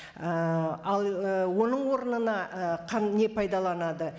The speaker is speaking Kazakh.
ііі ал і оның орнына і не пайдаланады